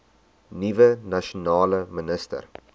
nuwe nasionale minister